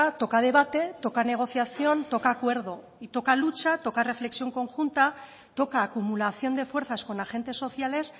toca debate toca negociación toca acuerdo y toca lucha toca reflexión conjunta toca acumulación de fuerzas con agentes sociales